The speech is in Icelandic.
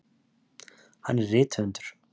Hann er rithöfundur.